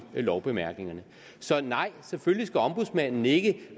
lovbemærkningerne så nej selvfølgelig skal ombudsmanden ikke